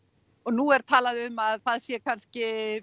og nú er talað um að það sé kannski